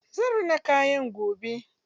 Zan rina kayana gobe.